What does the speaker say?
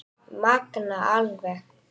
Magnað alveg